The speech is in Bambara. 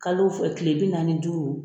Kalo fɔ kile bi naani ni duuru